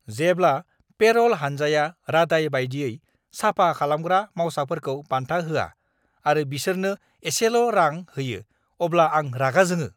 जेब्ला पेर'ल हानजाया रादाय बायदियै साफा खालामग्रा मावसाफोरखौ बान्था होआ आरो बिसोरनो एसेल'रां होयो अब्ला आं रागा जोङो।